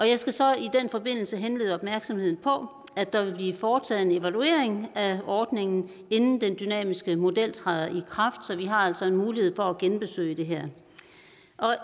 jeg skal så i den forbindelse henlede opmærksomheden på at der vil blive foretaget en evaluering af ordningen inden den dynamiske model træder i kraft så vi altså har en mulighed for at genbesøge det her